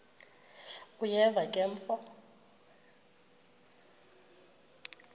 uyeva ke mfo